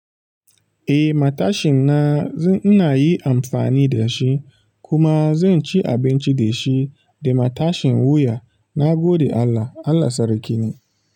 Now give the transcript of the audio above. Eh matashin na, ina yi amfani da shi kuma zan ci abinci da shi da matashin wuya. Na gode Allah. Allah sarki ne.